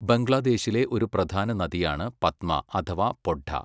ബംഗ്ലാദേശിലെ ഒരു പ്രധാന നദിയാണ് പദ്മ അഥവാ പൊഡ്ഡ.